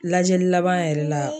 Lajɛli laban yɛrɛ la.